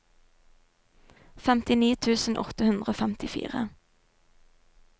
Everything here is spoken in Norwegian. femtini tusen åtte hundre og femtifire